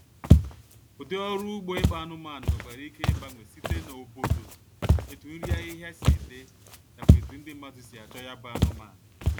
ụdị ọrụ ugbo ịkpa anụmanụ nwekwara ike igbanwe site n' obodo, etu nri ahịhịa si dị, nakwa etu ndi mmadụ si achọ ya bụ anụmanụ